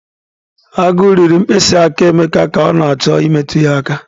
Agu riri mkpịsị aka Emeka ka ọ na-achọ imetụ ya aka